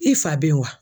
I fa bɛ wa